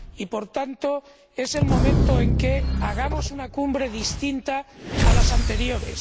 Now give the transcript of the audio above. Y, por tanto, es el momento de que hagamos una cumbre distinta a las anteriores.